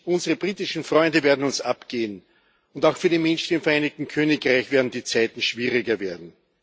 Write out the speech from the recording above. Unsere britischen Freunde werden uns abgehen, und auch für die Menschen im Vereinigten Königreich werden die Zeiten schwieriger werden.